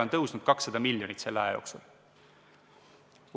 Linnaeelarve on 200 miljonit selle aja jooksul suurenenud.